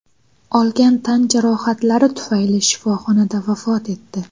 olgan tan jarohatlari tufayli shifoxonada vafot etdi.